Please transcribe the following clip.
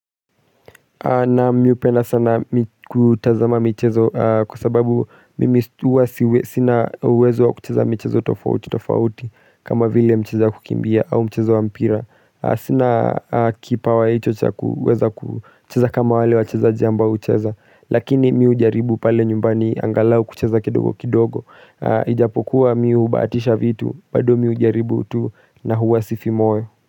Naam mi upenda sana kutazama michezo kwa sababu mimi stu huwa sina uwezo wa kucheza michezo tofauti tofauti kama vile mchezo wa kukimbia au mchezo wa mpira Sina kipawa hicho cha kuweza kucheza kama wale wachezaji ambao hucheza Lakini mi ujaribu pale nyumbani angalau kucheza kidogo kidogo Ijapokuwa mi ubaatisha vitu bado mi ujaribu tu na huwa sifi moyo.